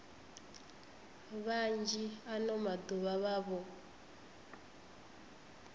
vhanzhi ano maḓuvha vha vho